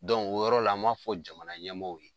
o yɔrɔ la an b'a fɔ jamana ɲɛmaaw ye.